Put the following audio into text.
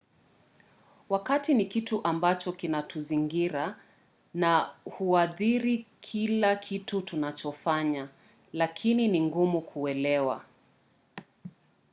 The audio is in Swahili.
wakati ni kitu ambacho kinatuzingira na huathiri kila kitu tunachofanya lakini ni ngumu kuelewa